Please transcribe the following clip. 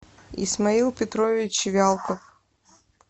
исмаил петрович вялков